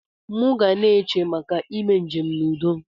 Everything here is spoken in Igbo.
Mu gana eche maka ime njem na udo.